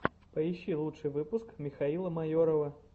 поищи лучший выпуск михаила майорова